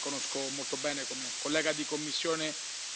Schöpflin, che conosco molto bene come collega di commissione.